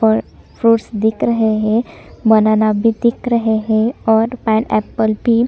और फ्रूट दिख रहे है बनाना भी दिख रहे है और पाइनएप्पल भी --